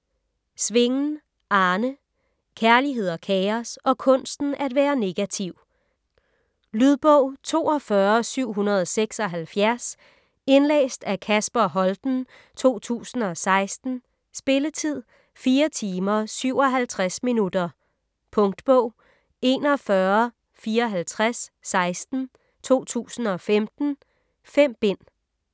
Svingen, Arne: Kærlighed og kaos - og kunsten at være negativ Lydbog 42776 Indlæst af Kasper Holten, 2016. Spilletid: 4 timer, 57 minutter. Punktbog 415416 2015. 5 bind.